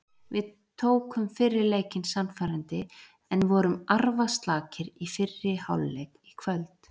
Við tókum fyrri leikinn sannfærandi en vorum arfaslakir í fyrri hálfleik í kvöld.